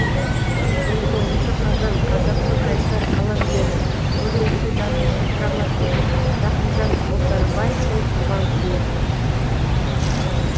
он тоғызыншы қазан қазақтың қайсар қаламгері көрнекті жазушы драматург рахымжан отарбаевтың туған күні